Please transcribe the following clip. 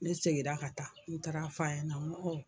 Ne segira ka taa n taara f'a ɲɛna n ko